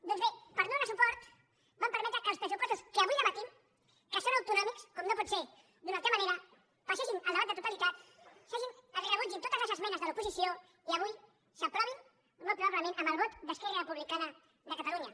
doncs bé per no donar hi suport van permetre que els pressupostos que avui debatem que són autonòmics com no pot ser d’una altra manera passessin el debat de totalitat es rebutgessin totes les esmenes de l’oposició i avui s’aprovin molt probablement amb el vot d’esquerra republicana de catalunya